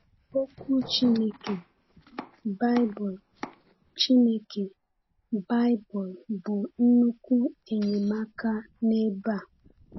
Okwu Chineke, Baịbụl, Chineke, Baịbụl, bụ nnukwu enyemaka n’ebe a.